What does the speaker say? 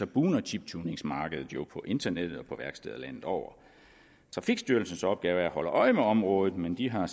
bugner chiptuningsmarkedet jo på internettet og på værksteder landet over trafikstyrelsens opgave er at holde øje med området men de har